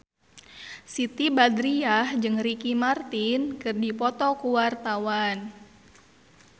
Siti Badriah jeung Ricky Martin keur dipoto ku wartawan